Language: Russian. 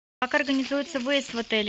как организуется выезд в отеле